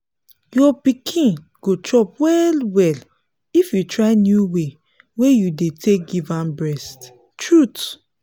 your pikin go chop well well if you try new way wey you dey take give am breast truth